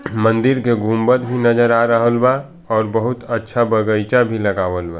मंदिर के गुंबद भी नजर आ रहल बा और बहुत अच्छा बगीचा भी लगाबल बा।